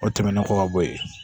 O tɛmɛnen kɔ ka bɔ yen